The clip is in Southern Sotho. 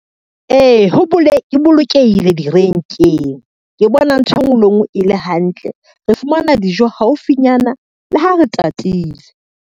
Ee, e bolokehile direnkeng. Ke bona ntho e ngwe le e ngwe e le hantle, re fumana dijo haufinyana le ha re tatile.